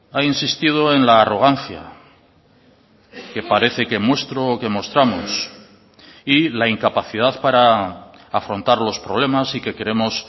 ha insistido en la arrogancia que parece que muestro o que mostramos y la incapacidad para afrontar los problemas y que queremos